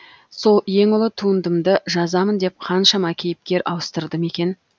сол ең ұлы туындымды жазамын деп қаншама кейіпкер ауыстырдым екен